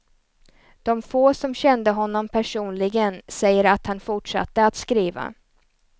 De få som kände honom personligen säger att han fortsatte att skriva.